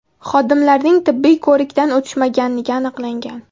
Xodimlarning tibbiy ko‘rikdan o‘tishmaganligi aniqlangan.